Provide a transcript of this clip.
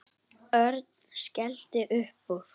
Örn skellti upp úr.